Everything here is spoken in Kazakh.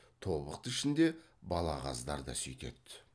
тобықты ішінде балағаздар да сүйтеді